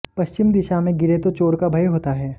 पश्चिम दिशा में गिरे तो चोर का भय होता है